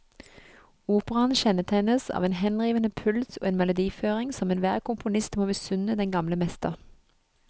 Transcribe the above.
Operaen kjennetegnes av en henrivende puls og en melodiføring som enhver komponist må misunne den gamle mester.